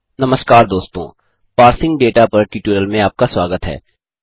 नमस्कार दोस्तों parsing data पर ट्यूटोरियल में आपका स्वागत है